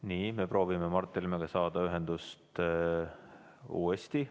Nii, me proovime Mart Helmega uuesti ühendust saada.